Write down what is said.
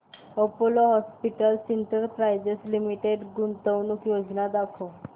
Apollo hospitals enterprise limited गुंतवणूक योजना दाखव